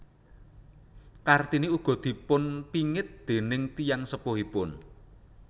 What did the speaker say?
Kartini ugi dipunpingit déning tiyang sepuhipun